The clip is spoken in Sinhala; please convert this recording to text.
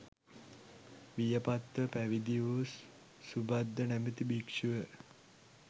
වියපත්ව පැවිදි වූ සුභද්ද නමැති භික්‍ෂුව